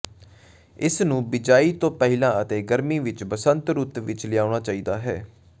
ਇਸ ਨੂੰ ਬਿਜਾਈ ਤੋਂ ਪਹਿਲਾਂ ਅਤੇ ਗਰਮੀ ਵਿਚ ਬਸੰਤ ਰੁੱਤ ਵਿਚ ਲਿਆਉਣਾ ਚਾਹੀਦਾ ਹੈ